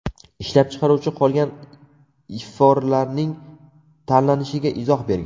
Ishlab chiqaruvchi qolgan iforlarning tanlanishiga izoh bergan.